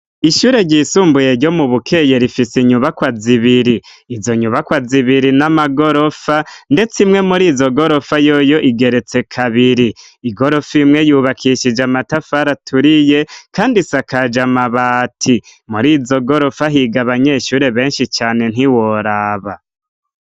Ishure ryisumbuye ryo mu Bukeye rifise inyubakwa zibiri, izo nyubakwa zibiri n'amagorofa ndetse imwe muri izo gorofa yoyo igeretse kabiri. Igorofa imwe yubakishije amatafari aturiye kandi isakaje amabati. Muri izo gorofa higa abanyeshure benshi cane ntiworaba.